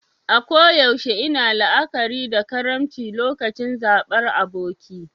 A koyaushe ina la'akari da karimci lokacin zabar aboki.